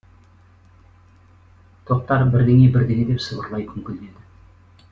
тоқтар бірдеңе бірдеңе деп сыбырлай күңкілдеді